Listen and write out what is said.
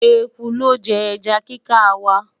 ẹkú looje eja kika wa